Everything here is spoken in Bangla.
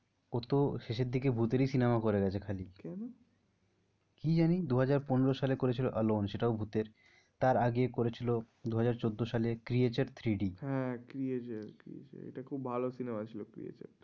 ও তো শেষের দিকে ভূতেরই cinema করে গেছে খালি, কেনো? কি জানি দুহাজার পনেরো সালে করেছিল অ্যালোন সেটাও ভূতের। তার আগে করেছিল দুহাজার চোদ্দো সালে ক্রীয়েচার থ্রি ডি হ্যাঁ ক্রীয়েচার ক্রীয়েচার এটা খুব ভালো cinema ছিল ক্রীয়েচার টা।